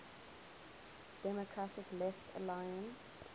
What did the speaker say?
democratic left alliance